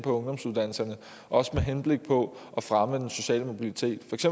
ungdomsuddannelserne også med henblik på at fremme den sociale mobilitet